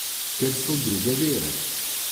Ker so druge vere.